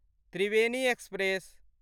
Triveni express